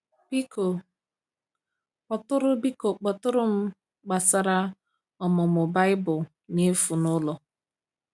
Biko kpọtụrụ Biko kpọtụrụ m gbasara ọmụmụ Baịbụl n’efu n’ụlọ.